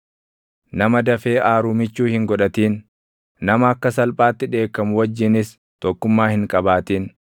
Nama dafee aaru michuu hin godhatin; nama akka salphaatti dheekkamu wajjinis // tokkummaa hin qabaatin;